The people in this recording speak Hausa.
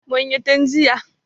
Mun yi tun jiya.